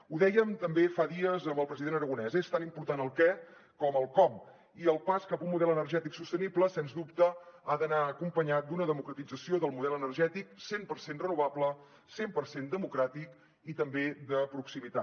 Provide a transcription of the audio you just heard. ho dèiem també fa dies amb el president aragonès és tan important el què com el com i el pas cap a un model energètic sostenible sens dubte ha d’anar acompanyat d’una democratització del model energètic cent per cent renovable cent per cent democràtic i també de proximitat